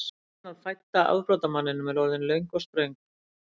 Leitin að fædda afbrotamanninum er orðin löng og ströng.